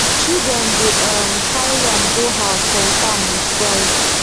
children dey um carry yam go house from farm with pride